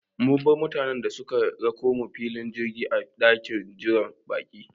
Mun bar mutane da suka rakomu filin jirgi a ɗakin jiran baƙi